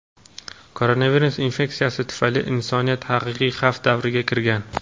koronavirus infeksiyasi tufayli insoniyat "haqiqiy xavf davriga" kirgan.